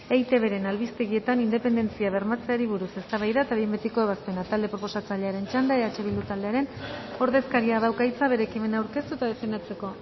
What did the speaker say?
eitbren albistegietan independentzia bermatzeari buruz eztabaida eta behin betiko ebazpena talde proposatzailearen txanda eh bildu taldearen ordezkariak dauka hitza bere ekimena aurkeztu eta defendatzeko